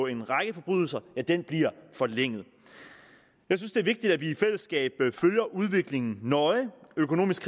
en række forbrydelser forlænget jeg synes det er vigtigt at vi i fællesskab følger udviklingen nøje økonomisk